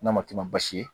N'a ma kɛ baasi ye